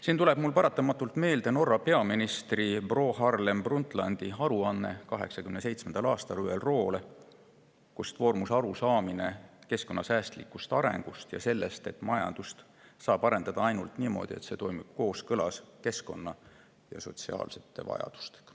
Siin tuleb mul paratamatult meelde Norra peaministri Gro Harlem Brundtlandi 1987. aasta aruanne ÜRO‑le, mille põhjal vormus arusaamine keskkonnasäästlikust arengust ja sellest, et majandust saab arendada ainult niimoodi, et see toimib kooskõlas keskkonna ja sotsiaalsete vajadustega.